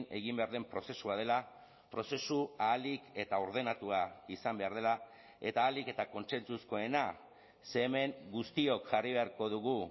egin behar den prozesua dela prozesu ahalik eta ordenatua izan behar dela eta ahalik eta kontsentsuzkoena ze hemen guztiok jarri beharko dugu